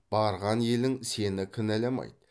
барған елің сені кінәламайды